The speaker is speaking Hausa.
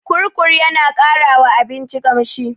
Kurkur yana ƙara wa abinci ƙamshi.